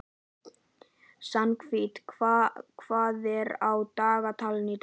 Svanhvít, hvað er á dagatalinu í dag?